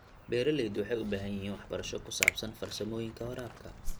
Beeraleydu waxay u baahan yihiin waxbarasho ku saabsan farsamooyinka waraabka.